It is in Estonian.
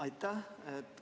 Aitäh!